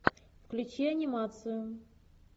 включи анимацию